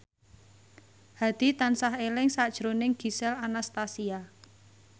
Hadi tansah eling sakjroning Gisel Anastasia